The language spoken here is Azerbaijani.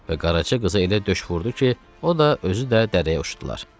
və Qaraca qızı elə döş vurdu ki, o da özü də dərəyə uçdular.